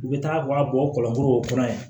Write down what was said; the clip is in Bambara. U bɛ taa u ka bɔ kɔlɔsi